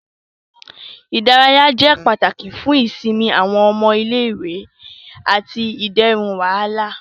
Ìdárayá jẹ pàtàkì fún ìsinmi awọn ọmọ ilé-ìwé ati iderun wàhálà.